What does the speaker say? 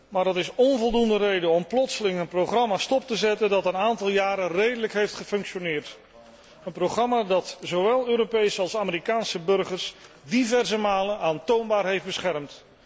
Maar dat is onvoldoende reden om plotseling een programma stop te zetten dat een aantal jaren redelijk heeft gefunctioneerd, een programma dat zowel Europese als Amerikaanse burgers diverse malen aantoonbaar heeft beschermd.